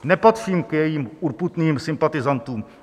Nepatřím k jejím urputným sympatizantům.